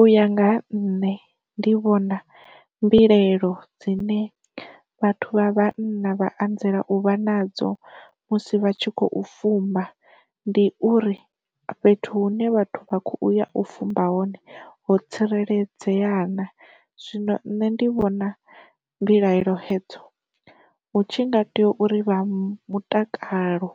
U ya nga ha nṋe ndi vhona mbilaelo dzine vhathu vha vhanna vha anzela u vha nadzo musi vha tshi khou fumba ndi uri, fhethu hune vhathu vha kho uya u fumba hone ho tsireledzea na. Zwino nṋe ndi vhona mbilaelo hedzo, hu tshi nga tea uri vha mutakalo